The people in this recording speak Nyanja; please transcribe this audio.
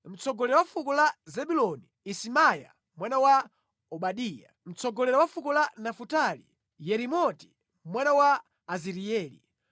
mtsogoleri wa fuko la Zebuloni: Isimaiya mwana wa Obadiya; mtsogoleri wa fuko la Nafutali: Yerimoti mwana wa Azirieli;